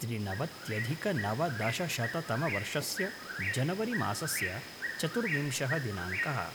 त्रिनवत्यधिकनवदशशततमवर्षस्य जनवरि मासस्य चतुर्विंशः दिनाङ्कः